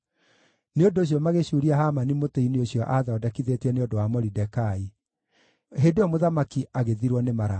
Nĩ ũndũ ũcio magĩcuuria Hamani mũtĩ-inĩ ũcio aathondekithĩtie nĩ ũndũ wa Moridekai. Hĩndĩ ĩyo mũthamaki agĩthirwo nĩ marakara.